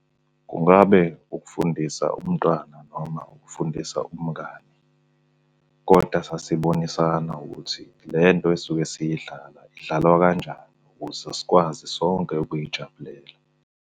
Kungabe ukufundisa umntwana noma ukufundisa umngani, koda sasibonisani ukuthi le nto esuke siyidlala, idlalwa kanjani ukuze sikwazi sonke ukuyijabulela.